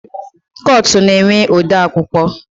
Kọtụ na-enwe odeakwụkwọ